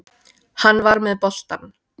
Hann var með boltann.